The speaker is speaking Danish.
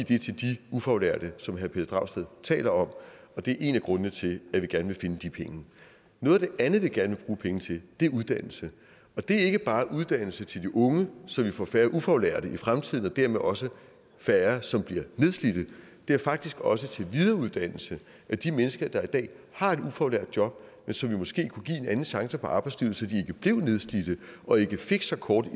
ufaglærte som herre pelle dragsted taler om og det er en af grundene til at vi gerne vil finde de penge noget af det andet vi gerne bruge penge til er uddannelse det er ikke bare uddannelse til de unge så vi får færre ufaglærte i fremtiden og dermed også færre som bliver nedslidte det er faktisk også til videreuddannelse af de mennesker der i dag har et ufaglært job men som vi måske kunne give en anden chance i arbejdslivet så de blev nedslidte og ikke fik så kort